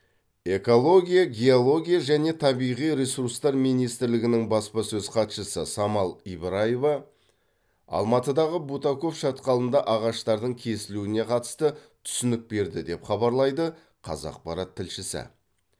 экология геология және табиғи ресурстар министрлігінің баспасөз хатшысы самал ибраева алматыдағы бутаков шатқалында ағаштардың кесілуіне қатысты түсінік берді деп хабарлайды қазақпарат тілшісі